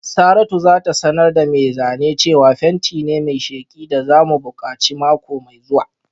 Saratu za ta sanar da mai zane cewa fenti ne mai sheki da za mu buƙaci mako mai zuwa